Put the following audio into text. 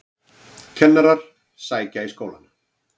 Kennarar sækja í skólana